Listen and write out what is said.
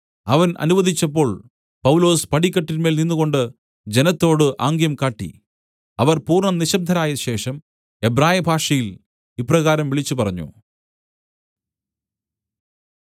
അവൻ അനുവദിച്ചപ്പോൾ പൗലൊസ് പടിക്കെട്ടിന്മേൽ നിന്നുകൊണ്ട് ജനത്തോട് ആംഗ്യം കാട്ടി അവർ പൂർണ്ണ നിശബ്ദരായ ശേഷം എബ്രായഭാഷയിൽ ഇപ്രകാരം വിളിച്ചുപറഞ്ഞു